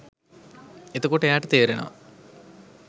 එතකොට එයාට තේරෙනවා